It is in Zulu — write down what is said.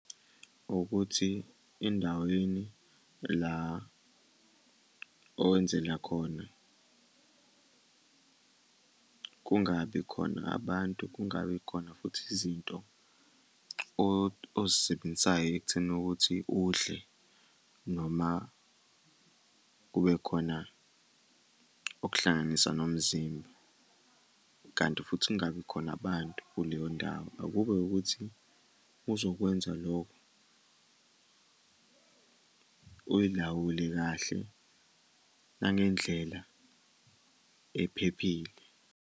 Ukuthi endaweni la owenzela khona, kungabi khona abantu kungabi khona futhi izinto ozisebenzisayo ekutheni ukuthi udle noma kube khona okuhlanganisa nomzimba, kanti futhi kungabi khona abantu kuleyo ndawo. Akube ukuthi uzokwenza lokho, uyilawule kahle nangendlela ephephile.